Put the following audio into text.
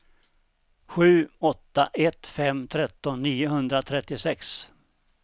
sju åtta ett fem tretton niohundratrettiosex